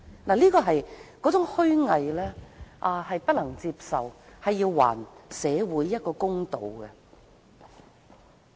那種虛偽不能接受，請還社會一個公道。